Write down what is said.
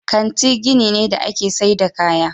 Kanti gini ne da ake saida kaya.